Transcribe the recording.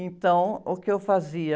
Então, o que eu fazia?